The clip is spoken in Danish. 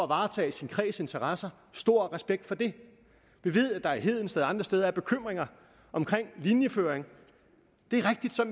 varetage sin kreds interesser stor respekt for det vi ved at der i hedensted og andre steder er bekymringer om linjeføring